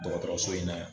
Dɔgɔtɔrɔso in na yan